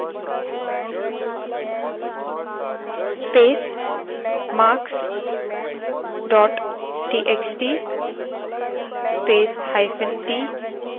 space marks dot txt space hyphen t space open inverted commas space close inverted commas space